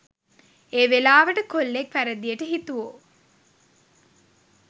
එවෙලාවට කොල්ලෙක් වැරදියට හිතුවො